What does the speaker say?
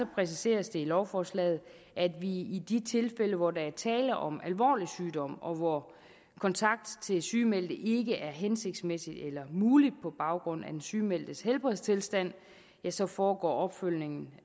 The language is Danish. præciseres det i lovforslaget at i de tilfælde hvor der er tale om alvorlig sygdom og hvor kontakt til sygemeldte ikke er hensigtsmæssig eller mulig på baggrund af den sygemeldtes helbredstilstand så foregår opfølgningen